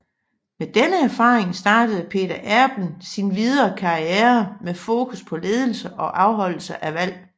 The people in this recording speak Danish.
Med denne erfaring startede Peter Erben sin videre karriere med fokus på ledelse og afholdelse af valg